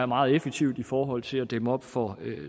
meget effektivt i forhold til at dæmme op for